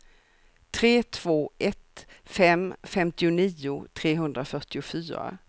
tre två ett fem femtionio trehundrafyrtiofyra